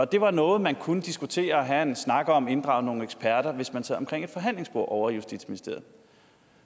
det var noget man kunne diskutere og have en snak om inddrage nogle eksperter hvis man sad omkring et forhandlingsbord ovre i justitsministeriet